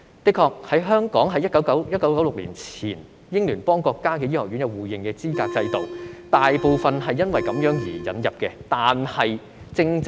的確，香港在1996年前與英聯邦國家的醫學院有資格互認制度，大部分非本地培訓的醫生透過這個制度引入。